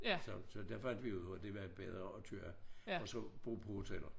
Så så der fandt vi jo ud af det var bedre at køre og så bo på hoteller